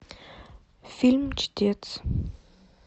фильм чтец